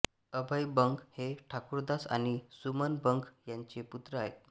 अभय बंग हे ठाकुरदास आणि सुमन बंग यांचे पुत्र आहेत